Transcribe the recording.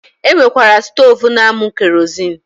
E nwekwara stoovu na-amụ kerozin